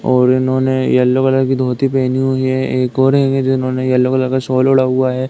और इन्होने yellow colour की धोती पहनी हुई है। एक और हैंगे जिन्होंने येलो कलर का शॉल ओढ़ा हुआ है।